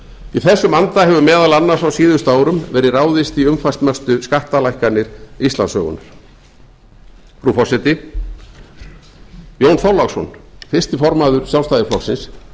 í þessum anda hefur meðal annars á síðustu árum verið ráðist í umfangsmestu skattalækkanir íslandssögunnar frú forseti jón þorláksson fyrsti formaður sjálfstæðisflokksins